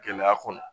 Gɛlɛya kɔnɔ